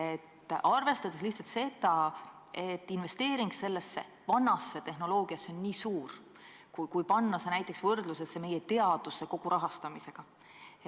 Ma arvestan lihtsalt seda, et investeering vanasse tehnoloogiasse on väga suur, kui panna see näiteks võrdlusesse kogu meie teaduse rahastamisega.